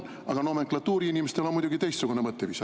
Aga nomenklatuuriinimestel on muidugi teistsugune mõtteviis.